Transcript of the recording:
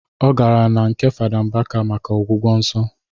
Ọ gara na nke fada Mbaka maka ọgwụgwọ nsọ